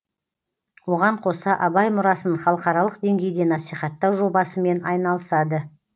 оған қоса абай мұрасын халықаралық деңгейде насихаттау жобасымен айналысады